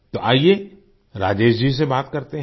तो आइये राजेश जी से बात करते हैं